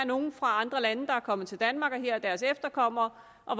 nogle fra andre lande der var kommet til danmark og her var deres efterkommere og